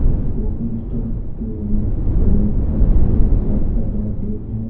Coffee stall के owner owner का shirt का कलर रेड है।